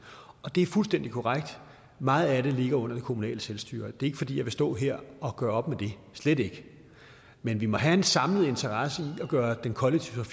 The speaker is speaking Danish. det er fuldstændig korrekt at meget af det ligger under det kommunale selvstyre og det er ikke fordi jeg vil stå her og gøre op med det slet ikke men vi må have en samlet interesse i at gøre den kollektive